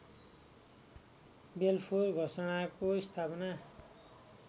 Balfour घोषणाको स्थापना